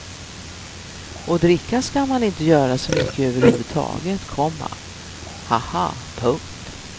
Och dricka ska man inte göra så mycket över huvud taget, komma ha ha. punkt